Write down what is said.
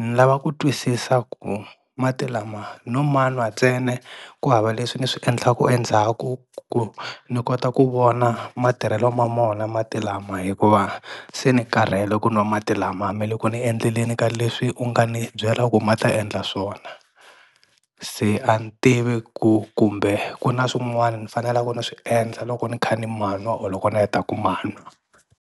ni lava ku twisisa ku mati lama no manwa ntsena ku hava leswi ni swi endlaku endzhaku ku ni kota ku vona matirhelo ma mona mati lama hikuva se ni karhele ku nwa mati lama a me le ku ni endleleni ka leswi u nga ni byela ku ma ta endla swona, se a ni tivi ku kumbe ku na swin'wani ni faneleku ni swi endla loko ni kha ni manwa or loko ni heta ku manwa.